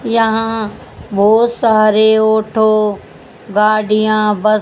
यहां बहुत सारे ऑटो गाड़ियां बस --